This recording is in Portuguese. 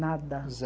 Nada.